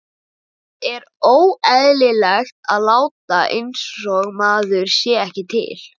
Það er óeðlilegt að láta einsog maður sé ekki til.